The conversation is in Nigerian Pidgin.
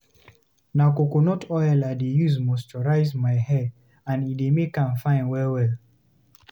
Na coconut oil I dey use moisturize my hair and e dey make am fine well-well.